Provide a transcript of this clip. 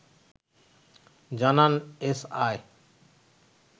জানান এসআই